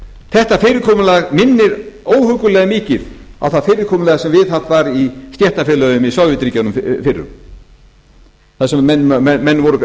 þetta fyrirkomulag minnir óhuggulega mikið á það fyrirkomulag sem viðhaft var í stéttarfélögum í sovétríkjunum fyrrum þar sem menn voru